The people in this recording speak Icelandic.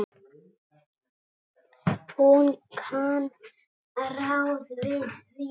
Hún kann ráð við því.